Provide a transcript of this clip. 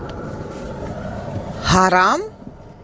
харам